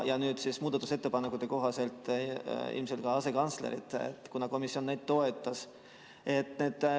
Nüüd siis muudatusettepanekute kohaselt ilmselt lisatakse ka asekantslerid, kuna komisjon seda toetas.